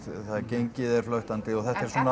gengið er flöktandi og þetta er svona